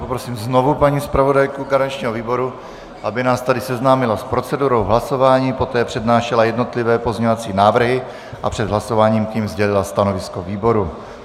Poprosím znovu paní zpravodajku garančního výboru, aby nás tady seznámila s procedurou hlasování, poté přednášela jednotlivé pozměňovací návrhy a před hlasováním k nim sdělila stanovisko výboru.